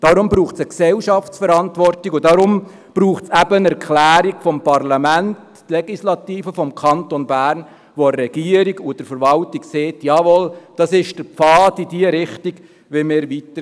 Deshalb braucht es eine gesellschaftliche Verantwortung, und deshalb braucht es eine Erklärung des Parlaments, der Legislative des Kantons Bern, welche der Regierung und der Verwaltung sagt: «Jawohl, dies ist der Pfad, in diese Richtung wollen wir weitergehen.»